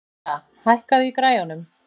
Kría, hækkaðu í græjunum.